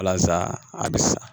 Alasa a bɛ sa